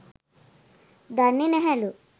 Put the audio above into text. දන්නේ නැහැලු